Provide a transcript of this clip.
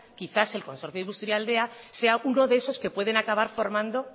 quizás el consorcio de busturialdea sea uno de esos que pueden acabar formando